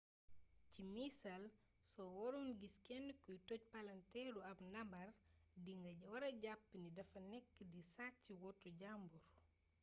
ci misaal soo waroon gis kenn kuy toj palanteeru ab ndaamaar di nga wara jàpp ni dafa nekk di sàcc woto jambur